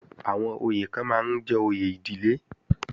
Àwọn oyè kan máa ń jẹ́ òye ìdílé